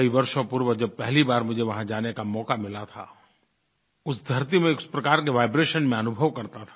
कई वर्षों पूर्व जब पहली बार मुझे वहाँ जाने का मौका मिला था उस धरती में एक प्रकार के वाइब्रेशन मैं अनुभव करता था